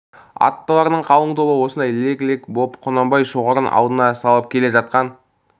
аттылардың қалың тобы осындай лек-лек боп құнанбай шоғырын алдына салып келе жатқан